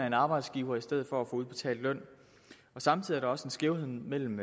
en arbejdsgiver i stedet for at få udbetalt løn samtidig er der også en skævhed mellem